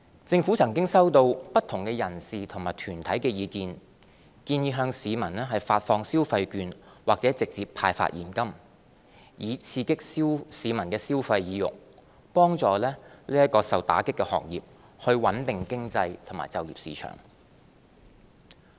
政府曾收到不同人士及團體的意見，建議向市民發放消費券或直接派發現金，以刺激市民消費意欲，幫助受打擊行業，穩定經濟和就業市場。